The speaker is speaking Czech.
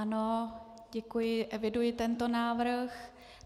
Ano, děkuji, eviduji tento návrh.